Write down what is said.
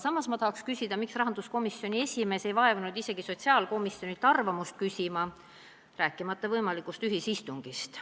" Samas ma tahan küsida, miks rahanduskomisjoni esimees ei vaevunud sotsiaalkomisjonilt isegi mitte arvamust küsima, rääkimata võimalikust ühisistungist.